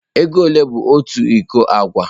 Ego ole bụ otu iko agwa?